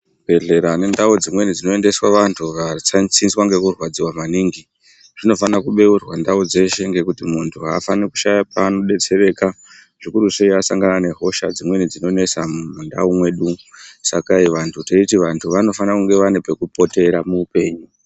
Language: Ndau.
Zvibhehlera nendau dzimweni dzinoendeswa vantu vatsanziswa nekurwadziwa maningi zvinofana kubeurwa ndau dzeshe ngekuti muntu aafani kushaya paanodetsereka zvikurusei asangana nehosha dzinonesa mundau mwedumwo saka teiti vantu vanofana kunge vanepekupotera muhupenyu.